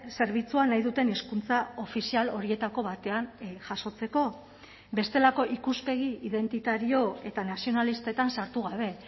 zerbitzua nahi duten hizkuntza ofizial horietako batean jasotzeko bestelako ikuspegi identitario eta nazionalistetan sartu gabe